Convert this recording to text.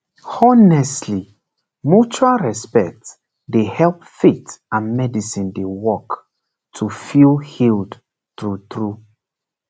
honestly mutual respect dey help faith and medicine dey work to feel healed true true